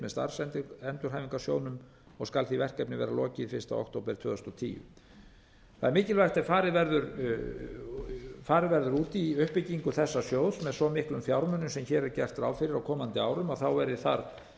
með starfsendurhæfingarsjóðnum og skal því verkefni vera lokið fyrsta október tvö þúsund og tíu það er mikilvægt ef farið verður út í uppbyggingu þessa sjóðs með svo miklum fjármunum sem hér er gert ráð fyrir á komandi árum að þá verði þar